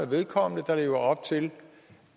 vedkommende der lever op til